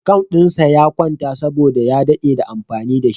Account dinsa ya kwanta saboda ya dade da amfani da shi.